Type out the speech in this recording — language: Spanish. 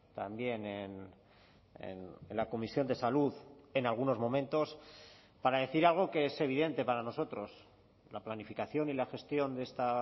también en la comisión de salud en algunos momentos para decir algo que es evidente para nosotros la planificación y la gestión de esta